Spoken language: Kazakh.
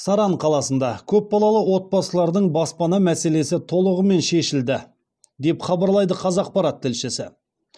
саран қаласында көпбалалы отбасылардың баспана мәселесі толығымен шешілді деп хабарлайды қазақпарат тілшісі